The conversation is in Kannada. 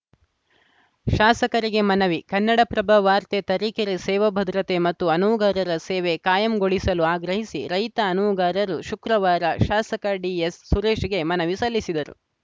ಶಾಸಕರಿಗೆ ಮನವಿ ಕನ್ನಡಪ್ರಭ ವಾರ್ತೆ ತರೀಕೆರೆ ಸೇವಾ ಭದ್ರತೆ ಮತ್ತು ಅನುವುಗಾರರ ಸೇವೆ ಕಾಯಂಗೊಳಿಸಲು ಆಗ್ರಹಿಸಿ ರೈತ ಅನುವುಗಾರರು ಶುಕ್ರವಾರ ಶಾಸಕ ಡಿಎಸ್‌ಸುರೇಶ್‌ಗೆ ಮನವಿ ಸಲ್ಲಿಸಿದರು